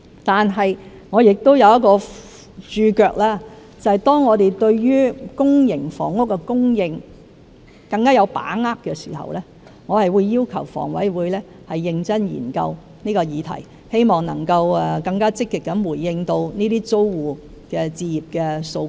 就此，我亦有一個註腳，便是當我們對於公營房屋的供應更有把握時，我會要求房委會認真研究這項議題，希望能夠更積極地回應這些租戶置業的訴求。